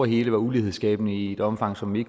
hele var ulighedsskabende i et omfang som vi